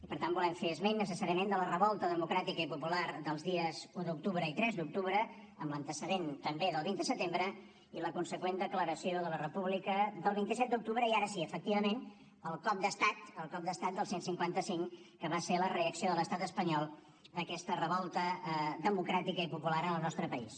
per tant volem fer esment necessàriament de la revolta democràtica i popular dels dies un d’octubre i tres d’octubre amb l’antecedent també del vint de setembre i la conseqüent declaració de la república del vint set d’octubre i ara sí efectivament el cop d’estat el cop d’estat del cent i cinquanta cinc que va ser la reacció de l’estat espanyol a aquesta revolta democràtica i popular en el nostre país